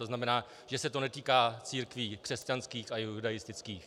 To znamená, že se to netýká církví křesťanských a judaistických.